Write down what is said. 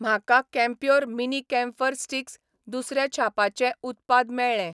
म्हाका Campure mini camphor sticks दुसऱ्या छापाचें उत्पाद मेळ्ळें.